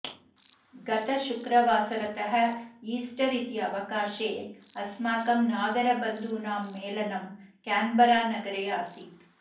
गतशुक्रवासरतः Easter इति अवकाशे अस्माकं नागरबन्धूनां मेलनं केन्बरानगरे आसीत्